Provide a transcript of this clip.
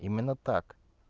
именно так